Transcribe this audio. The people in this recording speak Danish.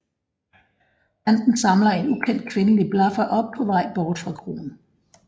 Banden samler en ukendt kvindelig blaffer op på vej bort fra kroen